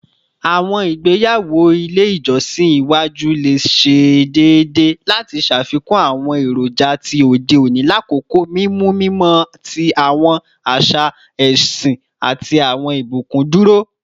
Awọn igbeyawo ile ijọsin iwaju le ṣe deede lati ṣafikun awọn eroja ti ode oni lakoko mimu mimọ ti awọn aṣa ẹsin ati awọn ibukun duro